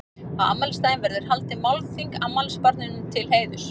Á afmælisdaginn verður haldið málþing afmælisbarninu til heiðurs.